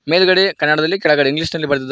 ಮೇಲ್ಗಡೆ ಕನ್ನಡದಲ್ಲಿ ಕೆಳಗಡೆ ಇಂಗ್ಲೀಷ್ ನಲ್ಲಿ ಬರೆದಿದ್ದಾರೆ.